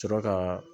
Sɔrɔ ka